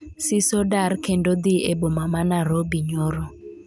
Siso dar kendo dhi e boma ma Narobi nyoro